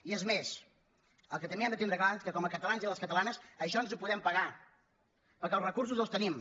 i és més el que també hem de tindre clar és que com a catalans i catalanes això ens ho podem pagar perquè els recursos els tenim